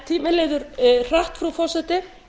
tíminn líður hratt frú forseti